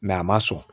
a ma sɔn